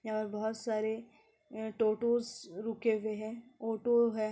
यहाँ पर बहुत सारे अ टोटोस रुके हुए हैं ऑटो है।